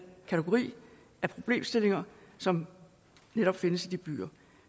kategori af problemstillinger som netop findes i de byer